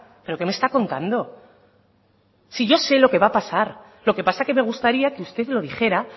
pero que me está contando si yo sé lo que va a pasar lo que pasa que me gustaría que usted lo dijera